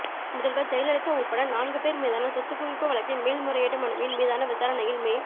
முதல்வர் ஜெயலலிதா உள்பட நான்கு பேர் மீதான சொத்துக்குவிப்பு வழக்கின் மேல்முறையீட்டு மனுவின் மீதான விசாரணையில் மே